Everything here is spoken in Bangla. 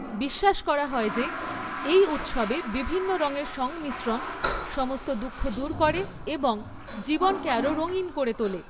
বিশ্বাস করা হয় যে এই উৎসবে বিভিন্ন রঙের সংমিশ্রণ সমস্ত দুঃখ দূর করে এবং জীবনকে আরও রঙিন করে তোলে।